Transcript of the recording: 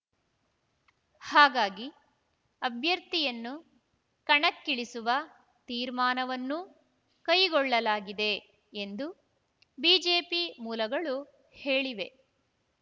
ಹಾಗಾಗಿ ಅಭ್ಯರ್ಥಿಯನ್ನು ಕಣಕ್ಕಿಳಿಸುವ ತೀರ್ಮಾನವನ್ನು ಕೈಗೊಳ್ಳಲಾಗಿದೆ ಎಂದು ಬಿಜೆಪಿ ಮೂಲಗಳು ಹೇಳಿವೆ